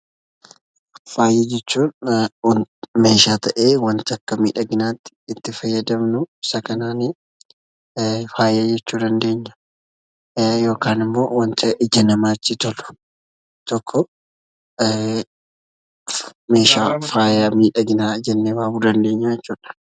Faaya jechuun meeshaa ta'e wanata akka midhaginnatti itti faayadamnu isaa kananii faaya jechuu ni dandeenya. Yookaan immoo wanata ija namatti tolu tokko meeshaa faaya midhaginaa jenne waamuu dandeenya jechuudha.